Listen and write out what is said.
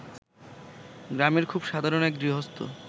গ্রামের খুব সাধারণ এক গৃহস্থ